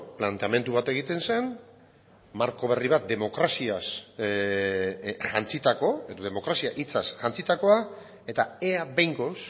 planteamendu bat egiten zen marko berri bat demokraziaz jantzitako edo demokrazia hitzaz jantzitakoa eta ea behingoz